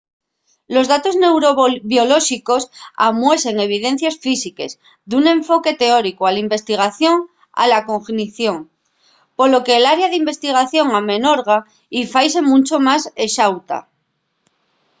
los datos neurobiolóxicos amuesen evidencies físiques d’un enfoque teóricu a la investigación de la cognición. polo que l’área d’investigación amenorga y faise muncho más exauta